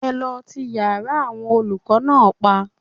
Ẹ lọ ti yára àwọn olùkọ́ náà pa